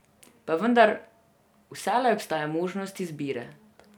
Pa vendar, vselej obstaja možnost izbire.